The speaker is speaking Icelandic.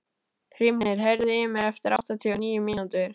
Hrímnir, heyrðu í mér eftir áttatíu og níu mínútur.